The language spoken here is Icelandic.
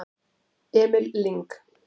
Emil Lyng